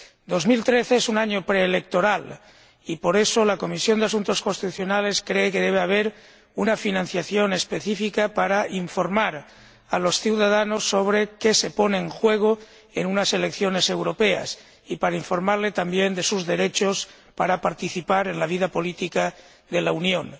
2013 es un año preelectoral y, por eso, la Comisión de Asuntos Constitucionales cree que debe haber una financiación específica para informar a los ciudadanos sobre qué se pone en juego en unas elecciones europeas, y también a fin de informarles de sus derechos para participar en la vida política de la Unión.